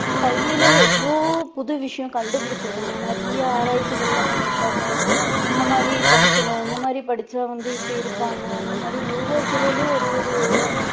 கல்வியில எவ்ளோ புது விஷயம் கண்டுபுடிச்சிருக்காங்க நிறைய ஆராயிச்சிகள்லாம் பண்ணிருக்காங்க இந்த மாதிரி படிக்கணும் இந்த மாதிரி படிச்சா வந்து இப்படி இருப்பாங்க இந்த மாதிரி ஒவ்வொரு துறையிலேயும் ஒரு ஒரு